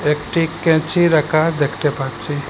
একটি ক্যাচি রাখা দেখতে পাচ্ছি।